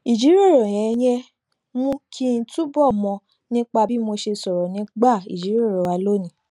ìjíròrò yẹn mú kí n túbọ mọ nípa bí mo ṣe sọrọ nígbà ìjíròrò wa lónìí